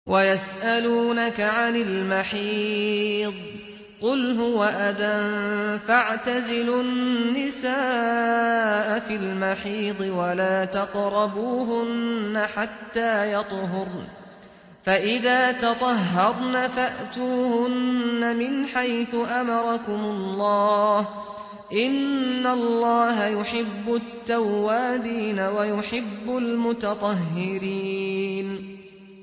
وَيَسْأَلُونَكَ عَنِ الْمَحِيضِ ۖ قُلْ هُوَ أَذًى فَاعْتَزِلُوا النِّسَاءَ فِي الْمَحِيضِ ۖ وَلَا تَقْرَبُوهُنَّ حَتَّىٰ يَطْهُرْنَ ۖ فَإِذَا تَطَهَّرْنَ فَأْتُوهُنَّ مِنْ حَيْثُ أَمَرَكُمُ اللَّهُ ۚ إِنَّ اللَّهَ يُحِبُّ التَّوَّابِينَ وَيُحِبُّ الْمُتَطَهِّرِينَ